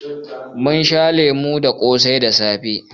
Mun sha kunu da ƙosai da safe.